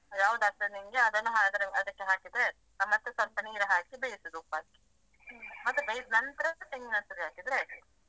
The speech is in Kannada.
ಯಾವುದು ಆಗ್ತದೆ ನಿಂಗೆ ಅದನ್ನ ಮಾಡಿ ಹಾಕಿದ್ರೆ ಹ ಮತ್ತೆ ಸ್ವಲ್ಪ ನೀರ್ ಹಾಕಿ ಬೇಯಿಸುದು ಉಪ್ಪು ಹಾಕಿ ಮತ್ತೆ ಅದು ಬೇಯಿದ್ನಂತ್ರ ತೆಂಗಿನ ತುರಿ ಹಾಕಿದ್ರೆ ಆಯ್ತು.